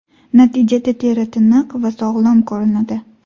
Natijada teri tiniq va sog‘lom ko‘rinadi.